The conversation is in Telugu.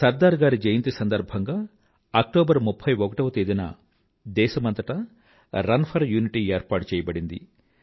సర్దార్ గారి జయంతి సందర్భంగా అక్టోబర్ 31 ని దేశమంతటా రన్ ఫర్ యూనిటీ ఏర్పాటు చెయ్యబడింది